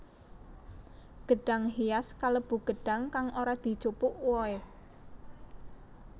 Gedhang hias kalêbu gêdhang kang ora dijupuk wohe